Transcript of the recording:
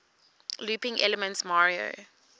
looping elements mario